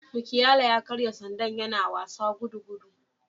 Mukiala ya karya sandar yana wasa gudugudu